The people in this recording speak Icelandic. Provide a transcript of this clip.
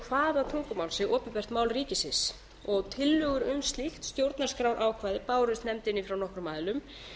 hvaða tungumál sé opinbert mál ríkisins tillögur um slíkt stjórnarskrárákvæði bárust nefndinni frá nokkrum aðilum